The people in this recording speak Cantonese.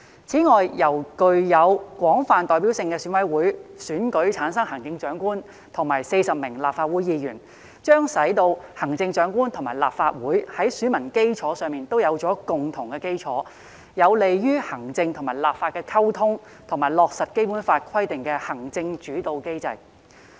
此外，由具有廣泛代表性的選委會選舉產生行政長官和40名立法會議員，將使行政長官和立法會在選民基礎上有共同基礎，有利於行政和立法的溝通，以及落實《基本法》規定的行政主導體制。